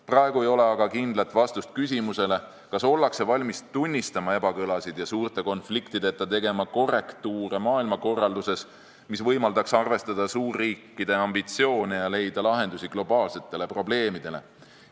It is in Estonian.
Praegu ei ole aga kindlat vastust küsimusele, kas ollakse valmis tunnistama ebakõlasid ja suurte konfliktideta tegema korrektiive maailmakorralduses, mis võimaldaks arvestada suurriikide ambitsioone ja leida lahendusi globaalsetele probleemidele.